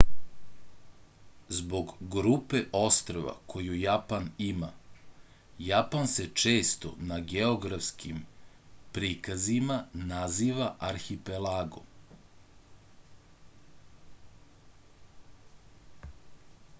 zbog grupe ostrva koju japan ima japan se često na geografskim prikazima naziva arhipelagom